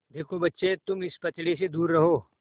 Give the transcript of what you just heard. देखो बच्चे तुम इस पचड़े से दूर रहो